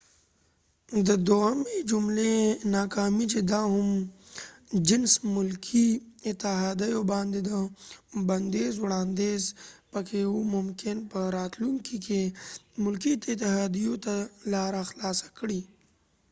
د دوهمی جملی ناکامی چې د هم جنس ملکې اتحاديو باندي د بنديز وړانديز پکې و ممکن په راتلونکې کې ملکې اتحاديو ته لاره خلاصه کړي